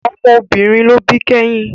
Ọmọ obìnrin ló bí kẹ́yìn